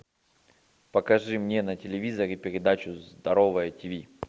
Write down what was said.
покажи мне на телевизоре передачу здоровое тв